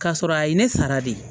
K'a sɔrɔ a ye ne sara de